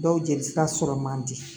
Dɔw jelisira sɔrɔ man di